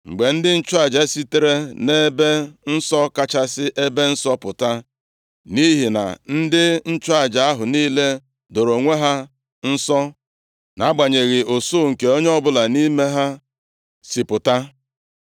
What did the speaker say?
Mgbe ndị nchụaja sitere nʼEbe Nsọ Kachasị Ebe Nsọ pụta, nʼihi na ndị nchụaja ahụ niile doro onwe ha nsọ nʼagbanyeghị usuu nke onye ọbụla nʼime ha si pụta.